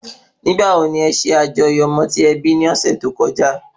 Ìgbà wo ni e sẹ àjọyọ̀ ọmọ tí e bí ní ọ́sẹ́ tó kọjá?